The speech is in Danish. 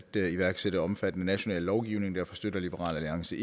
iværksætte omfattende national lovgivning derfor støtter liberal alliance